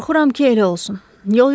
Qorxuram ki, elə olsun.